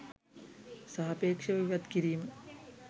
සාපේක්ෂව ඉවත් කිරීම